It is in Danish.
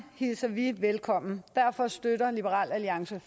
hilser vi velkommen derfor støtter liberal alliance